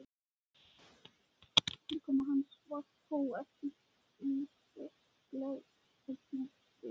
Tilkoma hans var þó ekki einbert gleðiefni fyrir